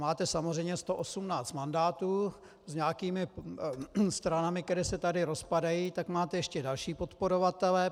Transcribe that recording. Máte samozřejmě 118 mandátů s nějakými stranami, které se tady rozpadají, tak máte ještě další podporovatele.